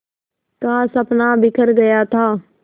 का सपना बिखर गया था